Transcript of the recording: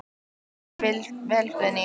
Þú stendur þig vel, Guðný!